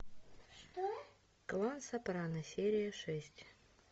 клан сопрано серия шесть